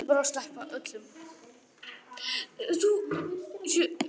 Eða skrifa eitt bréf?